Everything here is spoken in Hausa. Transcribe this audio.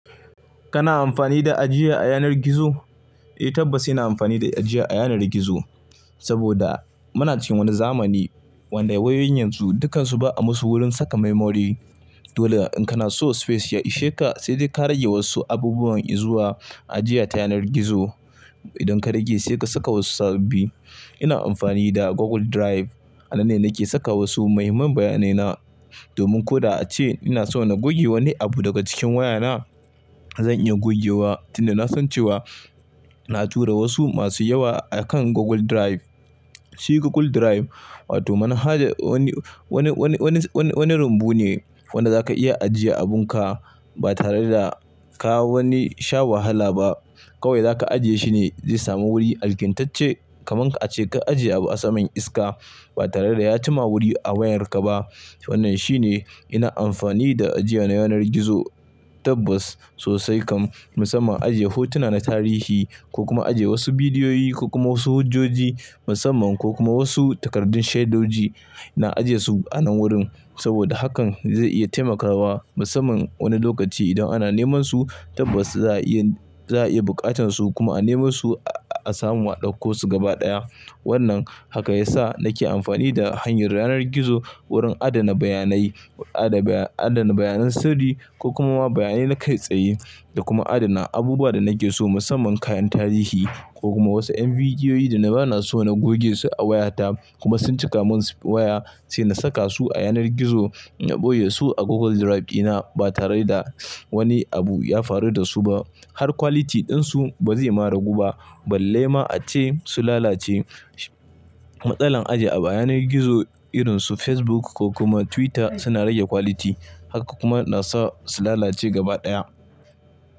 Kana amfani da ajiya a yanar gizo? Eh tabbas ina amfani da ajiya a yanar gizo. Saboda muna cikin wani zamani wanda wayoyin yanzu dukansu ba'a musu wurin saka memory. Dole in kana so space ya isheka sai dai ka rage wasu abubuwan in zuwa ajiya ta yanar gizo. Idan ka rage sai ka saka wasu sababbi. Ina amfani da Google Drive. A nan ne nake saka wasu muhimman bayanaina. Domin ko da ace ina so na goge wani abu daga cikin wayana zan iya gogewa tunda na san cewa na tura wasu masu yawa akan Google Drive. Shi Google Drive wato manhaja wani, wani, wani, wani, wani rumbu ne wanda zaka iya ajiye abunka ba tare da ka wani sha wahala ba. Kawai zaka ajiye shi ne zai samu wuri alkimtacce kaman ka ce ka ajiye abu a saman iska ba tare da ya chima wuri a wayarka ba. Wannan shine ina amfani da ajiya na yanar gizo tabbas sosai kam. Musamman ajiye hotuna na tarihi ko kuma ajiye wasu bidiyoyi ko kuma wasu hujjoji musamman ko kuma wasu takardun shaidoji. Ina ajiyesu a nan wurin saboda hakan zai iya taimakawa musamman wani lokaci idan ana nemansu tabbas za'a iya, za'a iya buƙatansu kuma a nemasu a samu a ɗauko su gaba ɗaya. Wannan haka yasa nake amfani da hanyar yanar gizo wurin adana bayanai, adana, adana bayanan sirri ko kuma bayanai na kai tsayi da kuma adana abubuwa da nake so musamman kayan tarihi ko kuma wasu 'yan bidiyoyi da na bana so na goge su a wayata kuma sun cika mun waya sai na saka su a yanar gizo. Na ɓoye su a Google Drive ina ba tare da wani abu ya faru dasu ba. Har quality ɗinsu ba zai marigu ba balle ma ace su lalace. Matsalan ajiye abu a yanar gizo irinsu Facebook ko kuma Twitter suna rage quality haka kuma nasa su lalace gaba ɗaya.